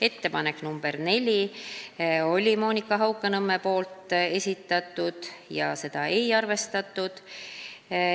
Ettepanek nr 4 oli Monika Haukanõmmelt ja seda ei arvestatud.